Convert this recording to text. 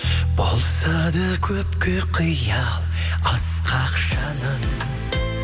болса да көпке қиял асқақ жаным